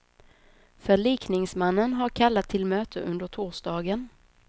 Förlikningsmannen har kallat till möte under torsdagen.